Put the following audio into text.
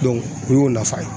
o y'o nafa ye